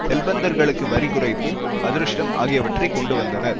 செல்வந்தர்களுக்கு வரி குறைப்பு அதிருஷ்டம் ஆகியவற்றை கொண்டு வந்தனர்